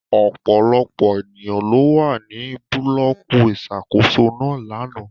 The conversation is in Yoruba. Ọpọlọpọ eniyan lo wa ni bulọki iṣakoso náa làná